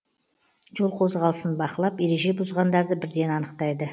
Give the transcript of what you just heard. жол қозғалысын бақылап ереже бұзғандарды бірден анықтайды